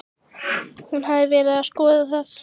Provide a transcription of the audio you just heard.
Hún hafði verið að skoða það.